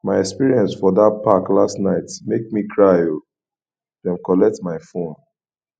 my experience for dat park last night make me cry o dem collect my fone